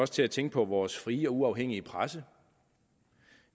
til at tænke på vores frie og uafhængige presse